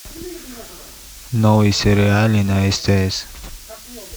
новые сериалы на стс